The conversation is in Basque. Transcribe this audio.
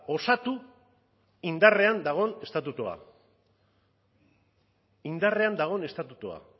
osatu indarrean dagoen estatutua indarrean dagoen estatutua